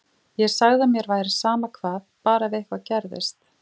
Ég sagði að mér væri sama hvað, bara ef eitthvað gerðist.